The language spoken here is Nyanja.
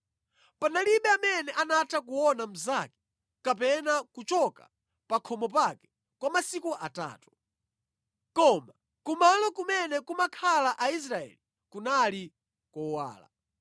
Palibe amene anatha kuona mnzake kapena kuchoka pa khomo pake kwa masiku atatu. Koma kumalo kumene kumakhala Aisraeli kunali kowala.